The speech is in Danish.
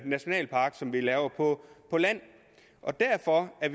nationalpark som bliver lavet på land og derfor er